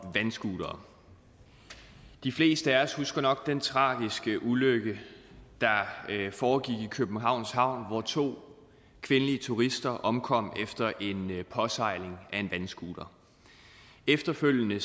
vandscootere de fleste af os husker nok den tragiske ulykke der foregik i københavns havn hvor to kvindelige turister omkom efter en påsejling af en vandscooter efterfølgende